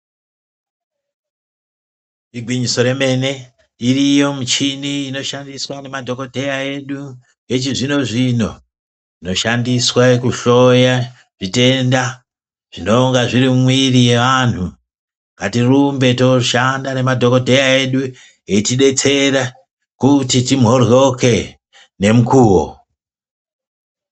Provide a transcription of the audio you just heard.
Igwinyiso remene iriyo michini inoshandiswa nemadhokodheya edu echizvino zvino inoshandiswa kuhloya zvitenda zvinonga zviri mumwiri mwevanthu ngatirumbe toshanda ngemadhokodheya edu eitidetsera kuti timhoryoke nemukuo.